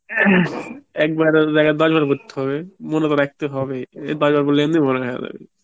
একবারের জায়গায় দশবার পড়তে হবে, মনে তো রাখতে হবে, দশবার পড়লে মনে হেয়িয়া যাবে